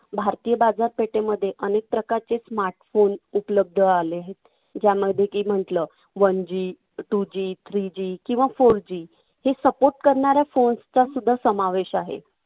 भारतीय बाजारपेठेमध्ये अनेक प्रकारचे smart phone उपलब्ध आले आहेत. ज्यामध्ये की म्हंटल, one G two G three G किंवा four G हे support करणाऱ्या phones चा सुद्धा समावेश आहे.